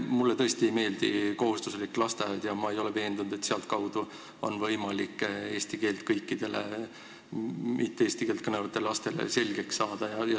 Mulle tõesti ei meeldi kohustuslik lasteaed ja ma ei ole veendunud, et sealtkaudu on võimalik kõikidel eesti keelt mittekõnelevatel lastel keel selgeks saada.